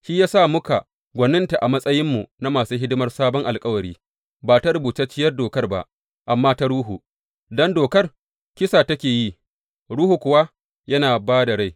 Shi ya sa muka gwaninta a matsayinmu na masu hidimar sabon alkawari ba ta rubutacciyar Dokar ba, amma ta Ruhu; don Dokar, kisa take yi, Ruhu kuwa yana ba da rai.